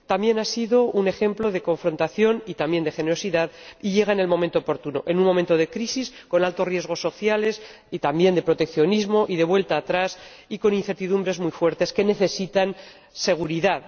También ha sido un ejemplo de confrontación y también de generosidad y llega en el momento oportuno, en un momento de crisis con altos riesgos sociales y también de proteccionismo y de vuelta atrás y con incertidumbres muy fuertes que necesitan seguridad.